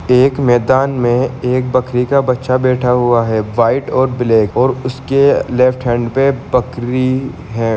एक मैदान में एक बकरी का बच्चा बैठा हुआ है व्हाइट और ब्लेक और उसके लेफ्ट हेंड पे बकरी है|